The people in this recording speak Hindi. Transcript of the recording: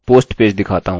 इसलिए